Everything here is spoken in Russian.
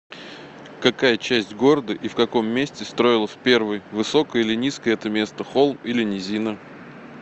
какая часть города и в каком месте строилась первой высокое или низкое это место холм или низина